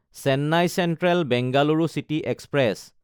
Chennai Central Bengaluru city express